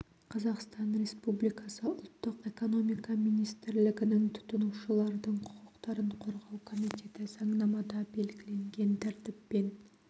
қазақстан республикасы ұлттық экономика министрлігінің тұтынушылардың құқықтарын қорғау комитеті заңнамада белгіленген тәртіппен